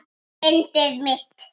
Yndið mitt!